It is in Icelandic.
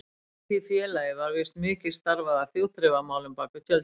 Í því félagi var víst mikið starfað að þjóðþrifamálum bak við tjöldin.